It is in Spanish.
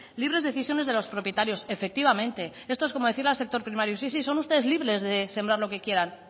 libres decisiones de los propietarios efectivamente esto es como decirle al sector primario sí si son ustedes libres de sembrar lo que quieran